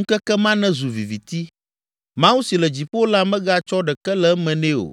Ŋkeke ma nezu viviti, Mawu si le dziƒo la megatsɔ ɖeke le eme nɛ o,